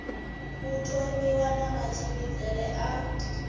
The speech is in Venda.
u thomiwa na matshimbidzele a